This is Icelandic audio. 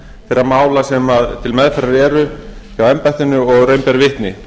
þeirra mála sem til meðferðar eru hjá embættinu og raun ber vitni